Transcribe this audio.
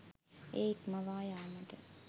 එය ඉක්මවා යාමට